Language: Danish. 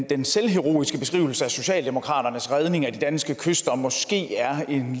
den selvheroiske beskrivelse af socialdemokratiets redning af de danske kyster måske er en